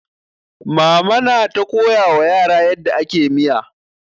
Mama na ta koyawa yara yadda ake miya.